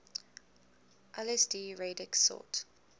lsd radix sort